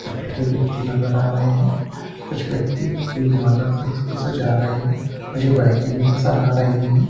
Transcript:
उस पे कोई व्यक्ति नजर आ रहे हैं कुछ व्यक्ति फूल माला से इसको सजा रहे हैं मुझे बाइकें भी नजर आ रही है।